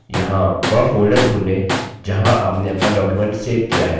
यहाँ वह folder ढ़ूंढें जहाँ आपने अपना document सेव किया है